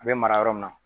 A bɛ mara yɔrɔ min na